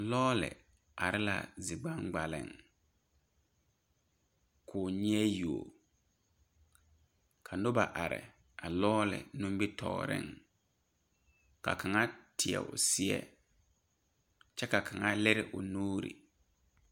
Lɔɔre are la zi gbaŋgbaliŋ koo nyeɛ yuo ka nobɔ are a lɔɔre nimbitoore ka kaŋa teɛ o seɛ kyɛ ka kaŋa lire o nuure.